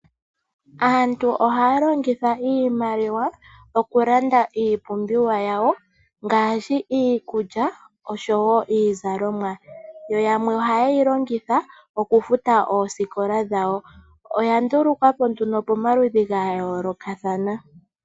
Aantu ohaalongitha iimaliwa oku landa iipumbiwa yawo ngashi iikulya nosho woo iizalomwa, yo yamwe ohayeilongitha okufuta oosikola dhawo. Iimaliwa oya ndulukwa po momaludhi gayolokathana.